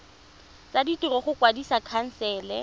tsa ditiro go kwadisa khansele